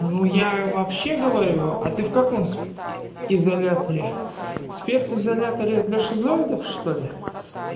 ну я вообще говорю а ты в каком изоляторе спец изоляторе для шизоидов что ли